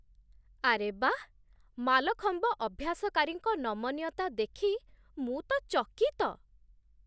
ଆରେ ବାଃ, ମାଲଖମ୍ବ ଅଭ୍ୟାସକାରୀଙ୍କ ନମନୀୟତା ଦେଖି ମୁଁ ତ ଚକିତ!